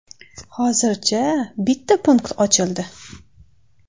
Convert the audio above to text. Hozircha bitta punkt ochildi.